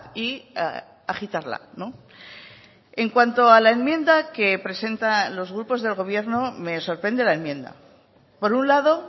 y agitarla en cuanto a la enmienda que presenta los grupos del gobierno me sorprende la enmienda por un lado